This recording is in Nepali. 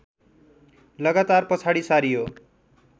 लगातार पछाडि सारियो